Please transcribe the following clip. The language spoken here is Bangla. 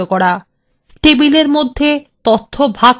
টেবিলের মধ্যে তথ্য ভাগ করা